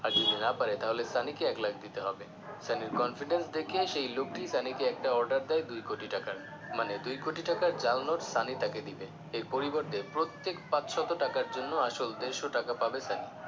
আর যদি না পারে তাহলে সানিকে এক লাখ দিতে হবে সানির confidence দেখে সেই লোকটি সানিকে একটি order দেয় দুই কোটি টাকার মানে দুই কোটি টাকার জাল নোট সানি তাকে দিবে এর পরিবর্তে প্রত্যেক পাঁচশত টাকার জন্য আসল দেড়শ টাকা পাবে সানি